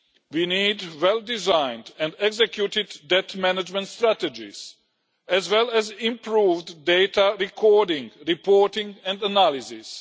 We need well designed and executed debt management strategies, as well as improved data recording, reporting and analysis.